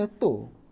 Estou.